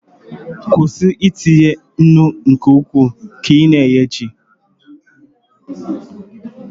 kwụsị itinye nnu nke ukwuu ka ị na-eghe ji